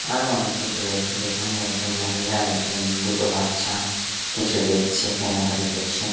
আরও অনেক কিছু রয়েছে যেখানে একজন মহিলা একজন দুটো বাচ্চা কিছু দেখছে কেনাকাটি করছে।